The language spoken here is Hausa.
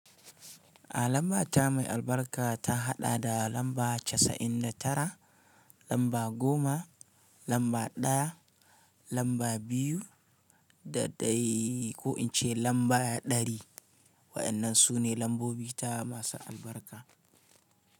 A lamba ta mai albarka ta haɗa da lamba casa'in da tara, lamba goma, lamba ɗaya, lamba biyu da ɗai ko in ce lamba ɗari. Waɗannan su ne lambobi ta masu albarka.